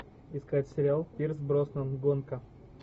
искать сериал пирс броснан гонка